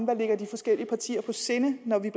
der ligger de forskellige partier på sinde når vi